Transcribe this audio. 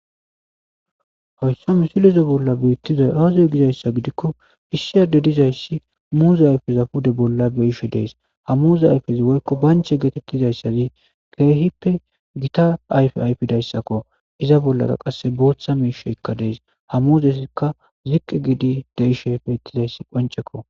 hoyssa misilize bolla biittizay aazo gizayssa gidikko issiyade dizayssi muuze ayfeza pude bolla beishe dees ha muuze ayfezi woykko banche geetettizayssazi keehippe gita ayfe ayfedayssakko iza bollara qasse booththa miisheykka dees ha muzesikka ziqqi giidi deishepfeittizayssi qoncekko